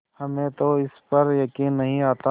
हमें तो इस पर यकीन नहीं आता